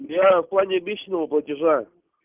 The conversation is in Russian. я в плане обещанного платежа